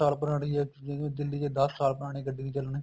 ਸਾਲ ਪੁਰਾਣੀ ਹੈ ਜਿਵੇਂ ਦਿੱਲੀ ਚ ਦਸ ਸਾਲ ਪੁਰਾਣੀ ਗੱਡੀ ਨੀ ਚੱਲਣੀ